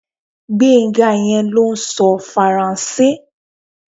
Gbénga yẹn ló ń sọ Faransé